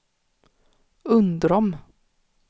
Undrom